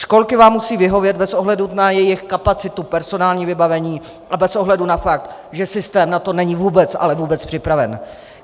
Školky vám musí vyhovět bez ohledu na svou kapacitu, personální vybavení a bez ohledu na fakt, že systém na to není vůbec, ale vůbec připraven.